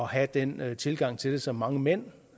have den tilgang til det som mange mænd